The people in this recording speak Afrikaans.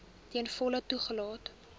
ten volle toegelaat